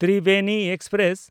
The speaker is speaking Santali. ᱛᱨᱤᱵᱮᱱᱤ ᱮᱠᱥᱯᱨᱮᱥ